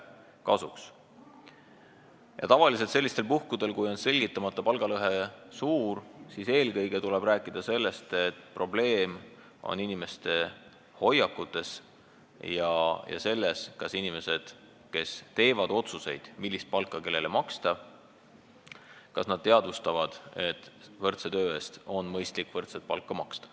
Tavaliselt tuleb sellistel puhkudel, kui selgitamata palgalõhe on suur, eelkõige rääkida sellest, et probleem on inimeste hoiakutes – selles, kas inimesed, kes teevad otsuseid, millist palka kellele maksta, teadvustavad, et võrdse töö eest on mõistlik võrdset palka maksta.